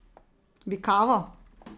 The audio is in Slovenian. Bi kavo?